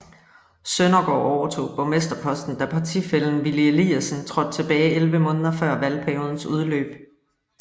Søndergaard overtog borgmsterposten da partifællen Willy Eliasen trådte tilbage 11 måneder før valgperiodens udløb